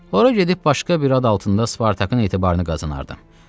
Ora gedib başqa bir ad altında Spartakın etibarını qazanardım.